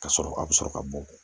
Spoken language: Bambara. Ka sɔrɔ a bɛ sɔrɔ ka bɔn